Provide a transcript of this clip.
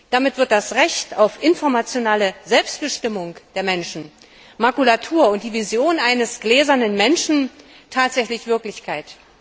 Damit wird das Recht auf informationelle Selbstbestimmung der Menschen Makulatur und die Vision eines gläsernen Menschen tatsächlich Wirklichkeit.